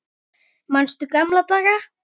Manstu gamla daga?